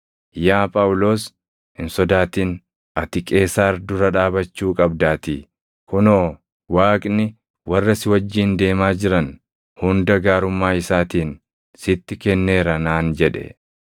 ‘Yaa Phaawulos, hin sodaatin; ati Qeesaar dura dhaabachuu qabdaatii; kunoo, Waaqni warra si wajjin deemaa jiran hunda gaarummaa isaatiin sitti kenneera’ naan jedhe.